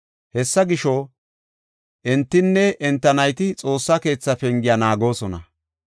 Hessa gisho, entinne enta nayti Xoossa keetha pengiya naagoosona.